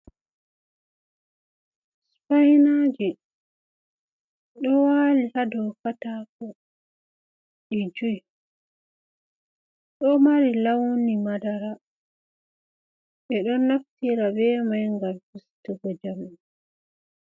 Spainaje do wali hado katako di 5 ,do mari launi madara be don naftira be mai gam fistugo jamde.